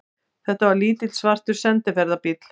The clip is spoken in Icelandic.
Þetta var lítill, svartur sendiferðabíll.